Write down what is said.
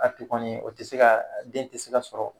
A ti kɔni o te se ka den te se ka sɔrɔ